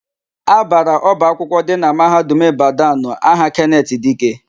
A bara ọba akwụkwọ dị na Mahadum Ịbadanụ aha Kenetị Dike.